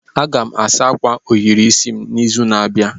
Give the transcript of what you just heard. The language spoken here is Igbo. Aga m asa akwa ohiri isi m n'izu na-abịa.